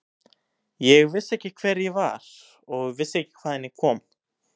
Ég vissi ekki hver ég var og vissi ekki hvaðan ég kom.